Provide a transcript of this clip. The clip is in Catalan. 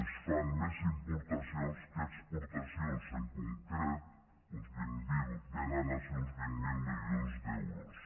es fan més importacions que exportacions en concret vénen a ser uns vint miler milions d’euros